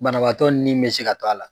Banabaatɔ ni bɛ se ka to a la.